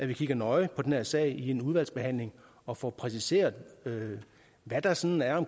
vi kigger nøje på den her sag i udvalgsbehandlingen og får præciseret hvad der sådan er